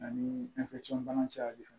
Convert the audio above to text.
Ani bana cayali fɛ